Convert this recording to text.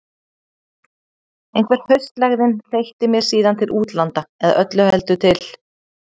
Einhver haustlægðin þeytti mér síðan til útlanda- eða öllu heldur til